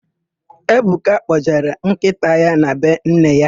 Ebuka kpọjere nkịta ya na be nne ya.